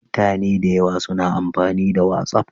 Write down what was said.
Mutane da yawa suna amfani da Watsaf